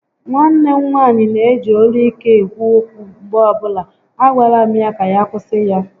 Nwanne m nwaanyị neji olu ike ekwu okwu mgbe ọbụla, a gwala m ya ka ya kwụsị ya